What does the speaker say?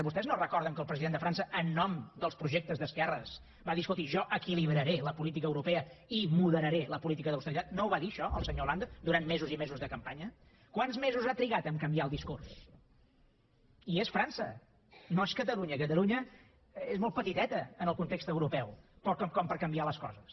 vostès no recorden que el president de frança en nom dels projectes d’esquerres va dir escolti jo equilibraré la política europea i moderaré la política d’austeritat no ho va dir això el senyor hollande durant mesos i mesos de campanya quants mesos ha trigat a canviar el discurs i és frança no és catalunya catalunya és molt petiteta en el context europeu com per canviar les coses